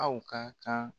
Aw ka kan